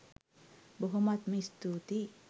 බොහොමත්ම ස්තූතියි.